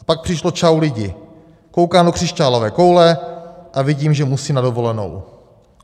A pak přišlo: Čau, lidi, koukám do křišťálové koule a vidím, že musím na dovolenou.